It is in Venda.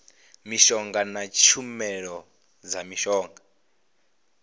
mishonga na tshumelo dza mishonga